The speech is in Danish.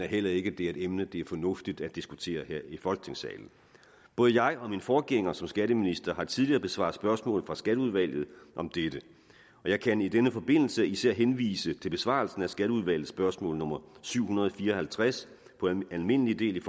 heller ikke det er et emne det er fornuftigt at diskutere her i folketingssalen både jeg og min forgænger som skatteminister har tidligere besvaret spørgsmål fra skatteudvalget om dette jeg kan i denne forbindelse især henvise til besvarelsen af skatteudvalgets spørgsmål nummer syv hundrede og fire og halvtreds på almindelig del